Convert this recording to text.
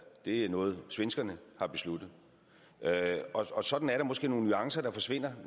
det er noget svenskerne har besluttet og sådan er der måske nogle nuancer der forsvinder